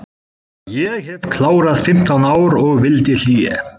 Ég hef klárað fimmtán ár og vildi hlé.